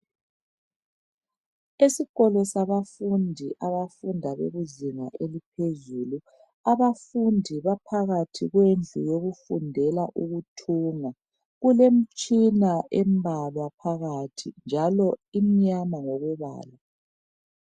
Esikolo sabafundi abafunda bekuzinga eliphezulu abafundi baphakathi kwendlu yokufundela ukuthunga kulemtshina embalwa phakathi njalo imnyama ngokombala.